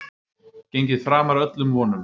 Gengið framar öllum vonum